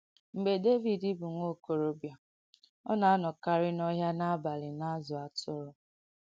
Mgbe Dèvìd bụ nwa ọ̀kọ̀rọ̀bìà, ọ na-ànọ̀kàrì n’òhị̀à n’àbàlì na-àzụ̀ àtùrù.